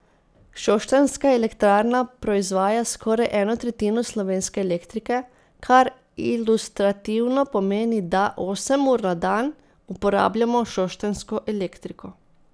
Šoštanjska elektrarna proizvaja skoraj eno tretjino slovenske elektrike, kar ilustrativno pomeni, da osem ur na dan uporabljamo šoštanjsko elektriko.